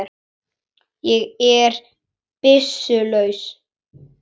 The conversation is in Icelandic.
Ég er byssu laus.